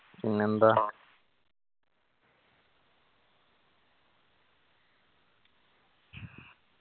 പിന്നെന്താ